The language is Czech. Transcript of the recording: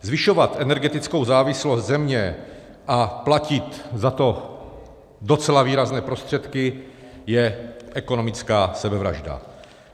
Zvyšovat energetickou závislost země a platit za to docela výrazné prostředky je ekonomická sebevražda.